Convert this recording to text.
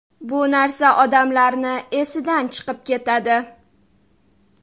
Bu narsa odamlarni esidan chiqib ketadi.